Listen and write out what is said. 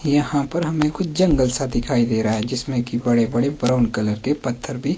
यहां पर हमें कुछ जंगल सा दिखाई दे रहा है जिसमें की बड़े बड़े ब्राउन कलर के पत्थर भी--